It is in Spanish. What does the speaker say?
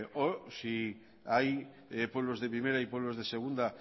o si hay pueblos de primera y pueblos de segunda